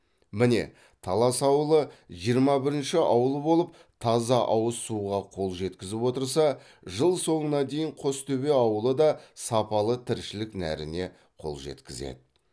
міне талас ауылы жиырма бірінші ауыл болып таза ауыз суға қол жеткізіп отырса жыл соңына дейін қостөбе ауылы да сапалы тіршілік нәріне қол жеткізеді